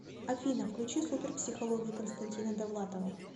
афина включи супер психологию константина довлатова